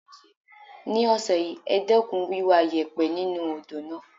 This week, reduce the dredging of the river.